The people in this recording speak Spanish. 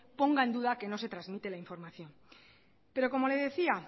ponga en duda que no se trasmite la información pero como le decía